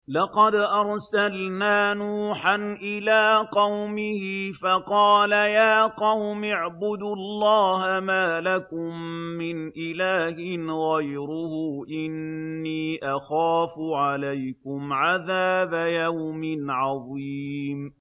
لَقَدْ أَرْسَلْنَا نُوحًا إِلَىٰ قَوْمِهِ فَقَالَ يَا قَوْمِ اعْبُدُوا اللَّهَ مَا لَكُم مِّنْ إِلَٰهٍ غَيْرُهُ إِنِّي أَخَافُ عَلَيْكُمْ عَذَابَ يَوْمٍ عَظِيمٍ